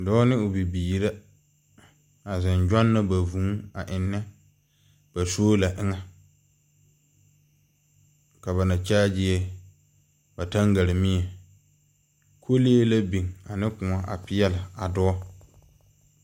Dɔɔ ne o bibiiri la, a zeŋ gyɔnnɔ ba vũũ a ennɛ ba soola poɔ. Ka ba na kyaagiɛ ba taŋgaremie. Kolee la biŋ ane kõɔ a peɛl a dɔɔ.